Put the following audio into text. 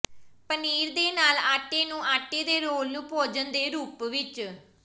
ਪਨੀਰ ਦੇ ਨਾਲ ਆਟੇ ਨੂੰ ਆਟੇ ਦੇ ਰੋਲ ਨੂੰ ਭੋਜਨ ਦੇ ਰੂਪ ਵਿੱਚ